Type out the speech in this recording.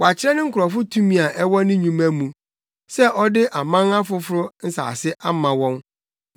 Wakyerɛ ne nkurɔfo tumi a ɛwɔ ne nnwuma mu, sɛ ɔde aman afoforo nsase ama wɔn.